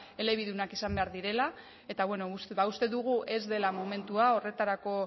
elebidunak izan behar direla eta bueno uste dugu ez dela momentua horretarako